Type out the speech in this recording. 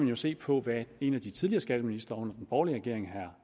jo se på hvad en af de tidligere skatteministre under den borgerlige regering herre